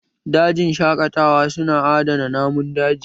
Dajin shaƙatawa su na adana namun daji